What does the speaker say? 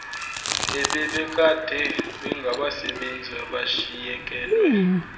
ebebekade bengabasebenzi abashiyekelwe